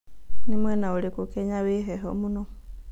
nĩ mwena ũrĩkũ Kenya wĩ heho mũno